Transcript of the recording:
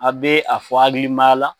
A' bɛ a fɔ hakilimaya la,